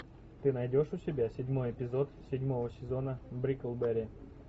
ты найдешь у себя седьмой эпизод седьмого сезона бриклберри